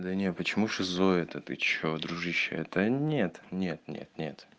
да не почему шизоид да ты что дружище это нет нет нет нет